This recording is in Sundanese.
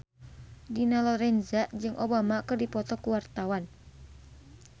Dina Lorenza jeung Obama keur dipoto ku wartawan